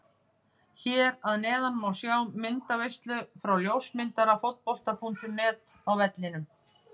Hér að neðan má sjá myndaveislu frá ljósmyndara Fótbolta.net á vellinum.